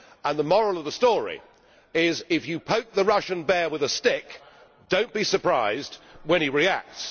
and the moral of the story is if you poke the Russian bear with a stick, do not be surprised when he reacts.